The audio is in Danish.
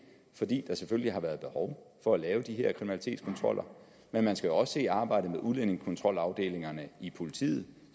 fordi der selvfølgelig har været behov for at lave de her kriminalitetskontroller men man skal også se arbejdet med udlændingekontrolafdelingerne i politiet